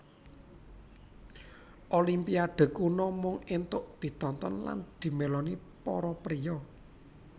Olimpiade kuno mung entuk ditonton lan dimeloni para priya